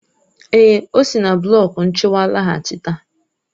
Èè, ọ si na blọk nchịkwa laghachita.